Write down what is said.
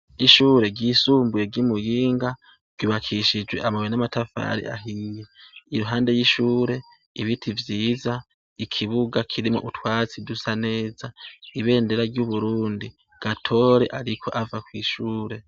Ishure ryisumbuye ry'i Muyinga ryubakishijwe amabuye n'amatafari ahiye. Iruhande y'ishure, ibiti vyiza, ikibuga kirimwo utwatsi dusa neza, ibendera ry'uburundi. Gatore ariko ava kw'ishure.